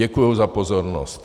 Děkuju za pozornost.